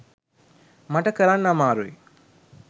මට කරන්න අමාරුයි.